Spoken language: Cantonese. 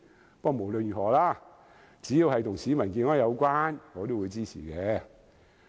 不過，無論如何，只要跟市民健康有關，我都會支持。